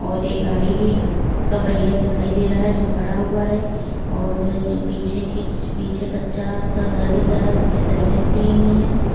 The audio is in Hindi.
और एक गाड़ी भी का पहिया दिखाई दे रहा है जो खड़ा हुआ है और पीछे की पीछे कच्चा सा घर दिख रहा है उस पे सरिया निकली हुई हैं।